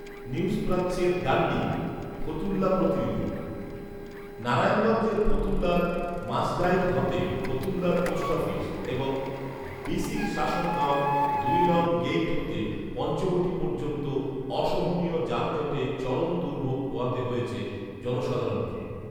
news প্রাচ্যের Dundee, Fatullah প্রতিনিধি, নারায়ণগঞ্জের ফতুল্লার মাসদাইর হতে ফতুল্লার পোষ্ট অফিস এবং বিসিক শাসন গাঁও দুই নং গেট হতে পঞ্চবটি পযর্ন্ত অসহনীয় যানজটে চরম দুর্ভোগ পোহাতে হয়েছে জনসাধারণকে